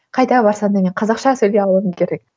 қайда барсам де мен қазақша сөйлей алуым керек